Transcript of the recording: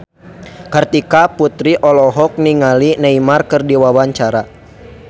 Kartika Putri olohok ningali Neymar keur diwawancara